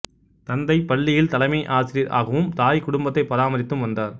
தந்தை பள்ளியில் தலைமை ஆசிரியர் ஆகவும் தாய் குடும்பத்தை பராமரித்தும் வந்தார்